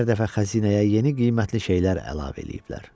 Hər dəfə xəzinəyə yeni qiymətli şeylər əlavə eləyiblər.